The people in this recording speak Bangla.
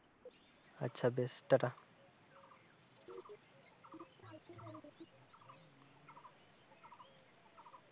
আচ্ছা বেশ tata